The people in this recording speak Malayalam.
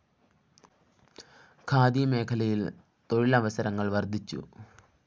ഖാദി മേഖലയില്‍ തൊഴിലവസരങ്ങള്‍ വര്‍ദ്ധിച്ചു